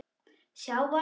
Sjá varla.